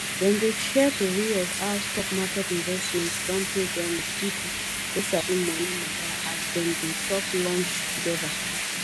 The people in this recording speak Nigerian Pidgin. dem dey share tori of how stock market investment don pay dem with people wey sabi money matter as dem dey chop lunch together